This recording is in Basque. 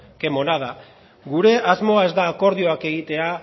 qué monada gure asmoa ez da akordioak egitea